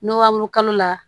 N'o b'o kalo kalo la